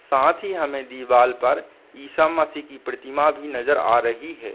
साथ ही हमें दीवाल पर ईसा मसीह की प्रतिमा भी नजर आ रही है।